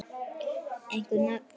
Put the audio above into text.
Einhver nöfn?